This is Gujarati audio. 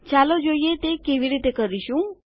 ચાલો જોઈએ તે કેવી રીતે કરીશું